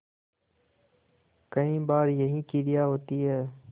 कई बार यही क्रिया होती है